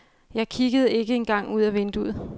Jeg kiggede ikke engang ud af vinduet.